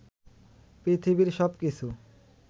পৃথিবীর সবকিছু